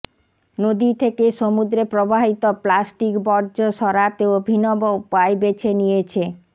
নদী থেকে সমুদ্রে প্রবাহিত প্লাস্টিক বর্জ্য সরাতে অভিনব উপায় বেছে নিয়েছে